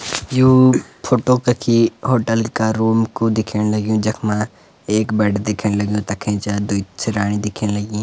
यु photo कखी hotel का room कु दिखेंण लग्युं जखमा एक बेड दिखेंण लग्युं तख ऐंच द्वि सिराणी दिखेंण लगीं।